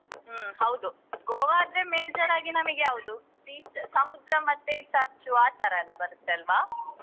ಹ್ಮ್ ಹೌದು Goa ಆದ್ರೆ major ಆಗಿ ನಮಿಗೆ ಯಾವ್ದು beach ಸಮುದ್ರ ಮತ್ತೆ ಚರ್ಚು ಆತರ ಎಲ್ಲ ಬರುತ್ತೆ ಅಲ್ವಾ?